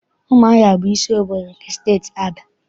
Ụmụahịa bụ isi obodo nke Steeti Abịa.